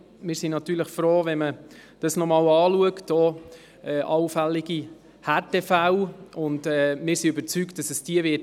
Wir sind natürlich froh, wenn man das noch einmal anschaut, gerade auch allfällige Härtefälle, denn diese wird es sicher geben.